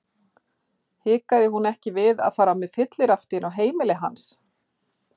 Hikaði hún ekki við að fara með fyllirafti inn á heimili hans?